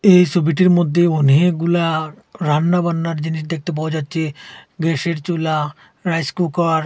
এই ছবিটির মধ্যে অনেকগুলা রান্নাবান্নার জিনিস দেখতে পাওয়া যাচ্ছে গ্যাসের চুলা রাইস কুকার ।